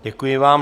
Děkuji vám.